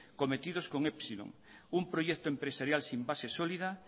cometidos con epsilon un proyecto empresarial sin base sólida